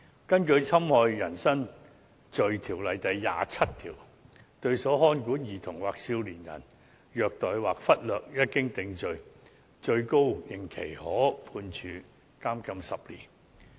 根據《侵害人身罪條例》第27條，虐待或忽略所看管的兒童或少年人，一經定罪，最高刑期可判處監禁10年。